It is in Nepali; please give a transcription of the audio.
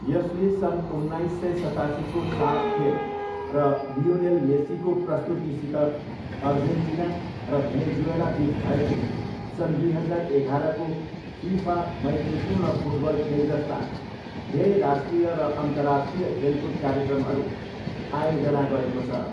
यसले सन् उन्नाइस सय सतासीको साफ खेल र लियोनेल मेस्सीको प्रस्तुतिसित अर्जेन्टिना र भेनेजुएलाबिच भएको सन् दुई हजार एघारको फिफा मैत्रीपूर्ण फुटबल खेल जस्ता धेरै राष्ट्रिय र अन्तर्राष्ट्रिय खेलकुद कार्यक्रमहरू आयोजना गरेको छ।